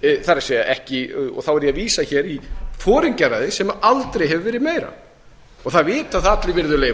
það er þá er ég að vísa hér í foringjaræðið sem aldrei hefur verið meira það vita það allir virðulegi